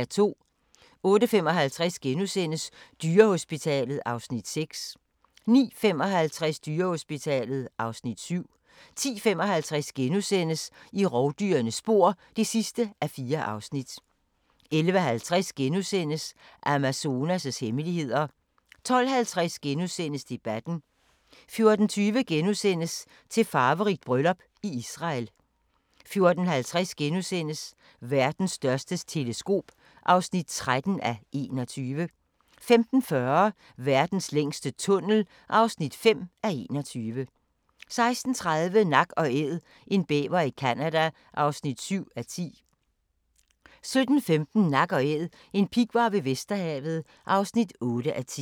08:55: Dyrehospitalet (Afs. 6)* 09:55: Dyrehospitalet (Afs. 7) 10:55: I rovdyrenes spor (4:4)* 11:50: Amazonas' hemmeligheder * 12:50: Debatten * 14:20: Til farverigt bryllup i Israel * 14:50: Verdens største teleskop (13:21)* 15:40: Verdens længste tunnel (5:21) 16:30: Nak & Æd – en bæver i Canada (7:10) 17:15: Nak & Æd – en pighvar ved Vesterhavet (8:10)